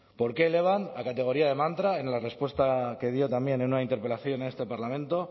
por qué elevan a categoría de mantra en la respuesta que dio también en una interpelación en este parlamento